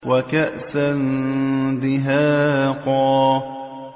وَكَأْسًا دِهَاقًا